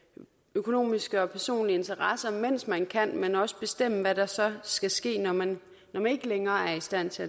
økonomiske og personlige interesser mens man kan men også bestemme hvad der så skal ske når man ikke længere er i stand til